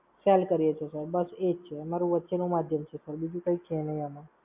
Sell કરીએ sir. બસ એ જ છે. અમારું વચ્ચેનું મધ્યમ છે Sir. બીજું કઈ છે નહીં આમાં.